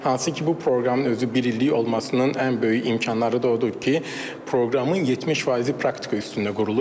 Hansı ki, bu proqramın özü bir illik olmasının ən böyük imkanları da odur ki, proqramın 70 faizi praktika üstündə qurulub.